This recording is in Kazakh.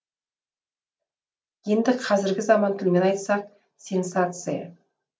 енді қазіргі заман тілімен айтсақ сенсация